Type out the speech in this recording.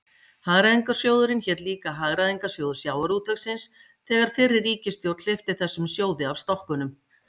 Hagræðingarsjóðurinn hét líka Hagræðingarsjóður sjávarútvegsins þegar fyrri ríkisstjórn hleypti þessum sjóði af stokkunum.